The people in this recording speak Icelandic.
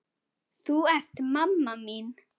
Þú ert mamma mín.